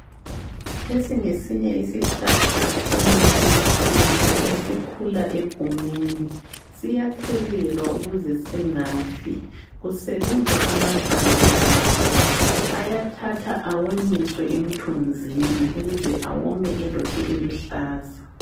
Lesi ngesinye isihlahla semithi yesintu esikhula egumeni. Siyathelelwa ukuze singafi. Kusebenza amahlamvu aso, ayathathwa awonyiswe emthunzini ukuze awome elokhe eluhlaza.